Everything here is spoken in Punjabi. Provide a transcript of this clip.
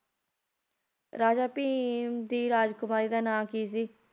ਰਾਜਾ ਭੀਮ ਦੀ ਰਾਜਕੁਮਾਰੀ ਦਾ ਨਾਂ ਕੀ ਸੀ